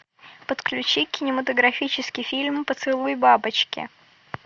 подключи кинематографический фильм поцелуй бабочки